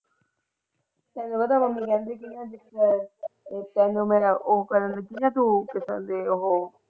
ਤੈਨੂੰ ਪਤਾ ਹੈ ਮੰਮੀ ਕਹਿੰਦੀ ਸੀ ਤੈਨੂੰ ਮੇਰਾ ਉਹ ਕਰਨ ਦਿੱਤਾ ਸੀ ਨਾ ਉਹ।